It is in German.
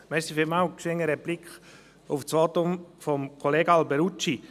Schnell eine Replik auf das Votum von Kollege Alberucci.